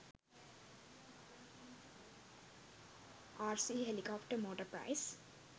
rc helicopter motor price